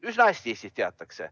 Üsna hästi seda Eestis teatakse.